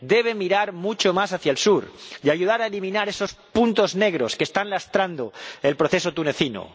Debe mirar mucho más hacia el sur y ayudar a eliminar esos puntos negros que están lastrando el proceso tunecino.